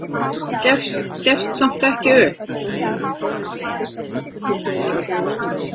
Gefst samt ekki upp.